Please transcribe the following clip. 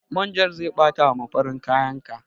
Manjan zai ɓata ma farin kayan ka.